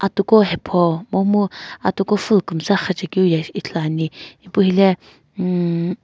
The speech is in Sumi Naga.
atu ko hapho kumomu atu ko full kumtsi ghipakeu ithulu ane ipu helae.